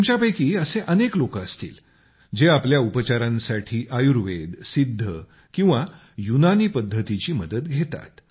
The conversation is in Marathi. तुमच्यापैकी असे अनेक लोक असतील जे आपल्या उपचारासाठी आयुर्वेद सिद्ध किंवा युनानी पद्धतीची मदत घेतात